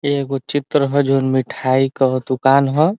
एगो चित्र ह जौन मिठाई कह ह दुकान ह।